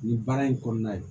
Nin baara in kɔnɔna ye